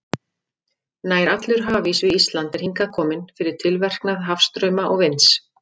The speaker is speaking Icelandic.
Nær allur hafís við Ísland er hingað kominn fyrir tilverknað hafstrauma og vinds.